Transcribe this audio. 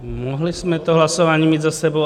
Mohli jsme to hlasování mít za sebou.